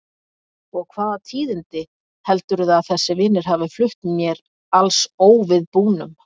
Og hvaða tíðindi heldurðu að þessir vinir hafi flutt mér alls óviðbúnum?